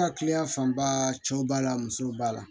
An ka kiliyan fanba cɛw b'a la musow b'a la